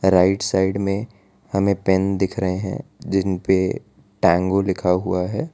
Right side मे हमे pen दिख रहे हैं जिनपे टैंगो लिखा हुआ है।